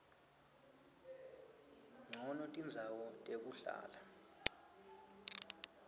ncono tindzawo tekuhlala